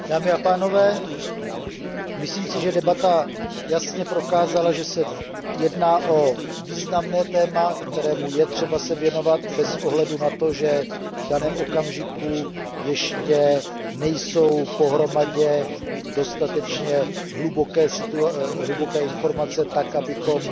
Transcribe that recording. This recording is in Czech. Dámy a pánové, myslím si, že debata jasně prokázala, že se jedná o významné téma, kterému je třeba se věnovat bez ohledu na to, že v daném okamžiku ještě nejsou pohromadě dostatečně hluboké informace tak, abychom